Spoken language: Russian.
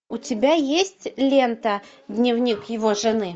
у тебя есть лента дневник его жены